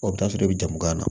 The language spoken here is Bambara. O bɛ taa sɔrɔ i bɛ jamu gan na